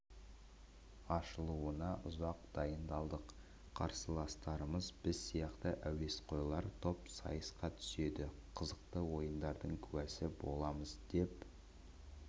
ашылуына ұзақ дайындалдық қарсыластарымыз біз сияқты әуесқойлар топ сайысқа түседі қызықты ойындардың куәсі боламыз деп